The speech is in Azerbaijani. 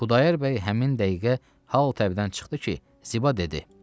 Xudayar bəy həmin dəqiqə hal təbdən çıxdı ki, Ziba dedi: